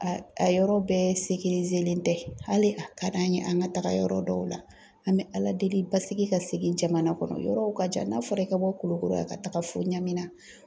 A a yɔrɔ bɛɛ len tɛ hali a ka d'an ye an ka taga yɔrɔ dɔw la, an bɛ Ala deli basigi ka segi jamana kɔnɔ yɔrɔw ka jan n'a fɔra i ka bɔ Kulukoro yan ka taga fo Nyamena